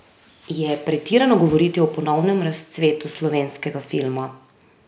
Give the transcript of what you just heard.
Je pretirano govoriti o ponovnem razcvetu slovenskega filma?